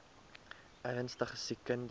ernstige siek kinders